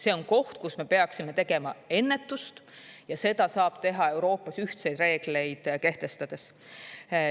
See on koht, kus me peaksime tegema ennetust, ja seda saab teha Euroopas ühtseid reegleid kehtestades.